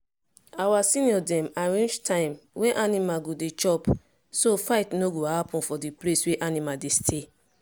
our senior dem arrange time wey animal go dey chop so fight no go happen for the place where animal dey stay